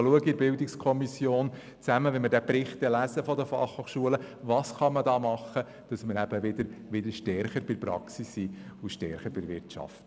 Wenn wir dann in der BiK den Jahresbericht der BFH lesen, sollten wir darüber diskutieren, was man tun könnte, damit die BFH wieder näher an die Praxis und an die Wirtschaft heranrückt.